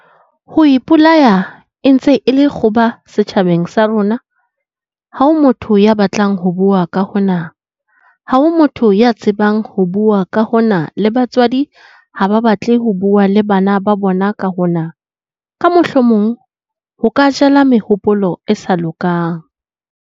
"Ho ipolaya e ntse e le kgoba setjhabeng sa bo rona ha ho motho ya batlang ho bua ka hona, ha ho motho ya tsebang ho bua ka hona le batswadi ha ba batle ho bua le bana ba bona ka hona, ka mohlomong ho ka 'jala mehopolo e sa lokang'."